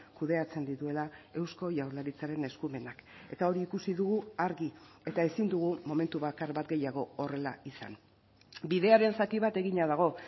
kudeatzen dituela eusko jaurlaritzaren eskumenak eta hori ikusi dugu argi eta ezin dugu momentu bakar bat gehiago horrela izan bidearen zati bat egina dago